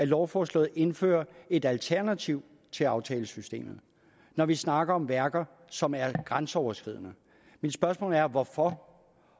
lovforslaget indføres et alternativ til aftalesystemet når vi snakker om værker som er grænseoverskridende mit spørgsmål er hvorfor